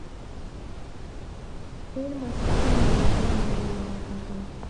фильмы с самым неожиданным концом